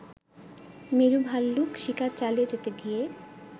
মেরু ভাল্লুক শিকার চালিয়ে যেতে গিয়ে